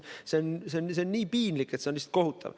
See on nii piinlik, et lihtsalt kohutav.